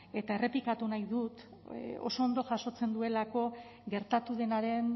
eta errepikatu nahi dut oso ondo jasotzen duelako gertatu denaren